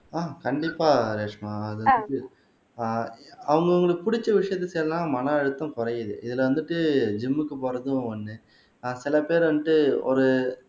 ஆஹ் கண்டிப்பா ரேஷ்மா ஆஹ் அவுங்கவங்களுக்கு புடிச்ச விஷயத்த சொன்னா மன அழுத்தம் குறையுது இதுல வந்துட்டு ஜிம்க்கு போறதும் ஒண்ணு ஆஹ் சில பேர் வந்துட்டு ஒரு